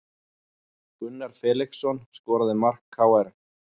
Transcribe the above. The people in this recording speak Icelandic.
Gunnar Felixson skoraði mark KR